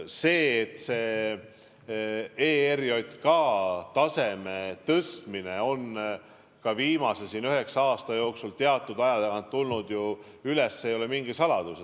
See, et ERJK taseme tõstmine on viimase üheksa aasta jooksul teatud aja tagant kõne alla tulnud, ei ole mingi saladus.